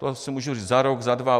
To se může říct za rok, za dva.